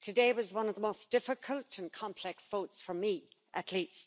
Today was one of the most difficult and complex votes for me, at least.